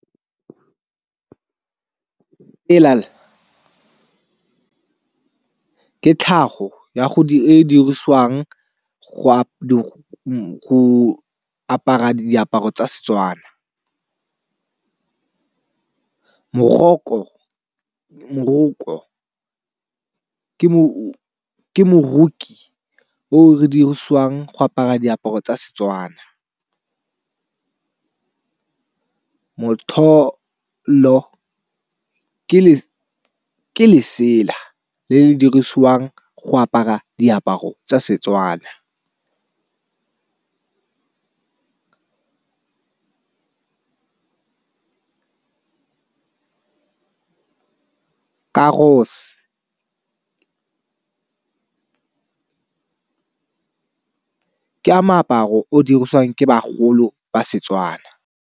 Ke tlhago e dirisiwang go apara diaparo tsa setswana. Moroko ke moroki o re dirisiwang go apara diaparo tsa setswana. Motlholo ke lesela le le dirisiwang go apara diaparo tsa setswana. Ka moaparo o dirisiwang ke bagolo ba setswana.